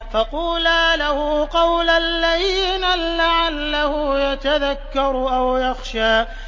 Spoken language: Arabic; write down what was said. فَقُولَا لَهُ قَوْلًا لَّيِّنًا لَّعَلَّهُ يَتَذَكَّرُ أَوْ يَخْشَىٰ